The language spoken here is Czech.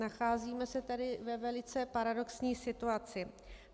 Nacházíme se tady ve velice paradoxní situaci.